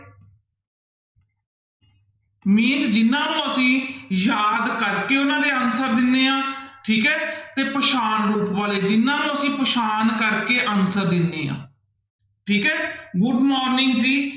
Main ਜਿਹਨਾਂ ਨੂੰ ਅਸੀਂ ਯਾਦ ਕਰਕੇ ਉਹਨਾਂ ਦੇ answer ਦਿੰਦੇ ਹਾਂ ਠੀਕ ਹੈ ਤੇ ਪਛਾਣ ਰੂਪ ਵਾਲੇ ਜਿਹਨਾਂ ਨੂੰ ਅਸੀਂ ਪਛਾਣ ਕਰਕੇ answer ਦਿੰਦੇ ਹਾਂ ਠੀਕ ਹੈ good morning ਜੀ